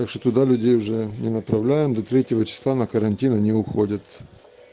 так что туда людей уже не направляем до третьего числа на карантин они уходят